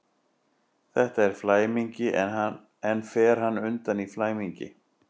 Þetta er flæmingi, en fer hann undan í flæmingi?